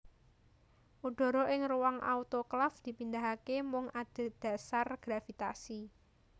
Udara ing ruang autoklaf dipindahake mung adhedhasar gravitasi